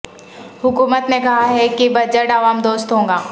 حکومت نے کہا ہے کہ بجٹ عوام دوست ہوگا